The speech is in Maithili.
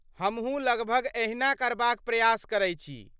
हमहूँ लगभग एहिना करबाक प्रयास करै छी।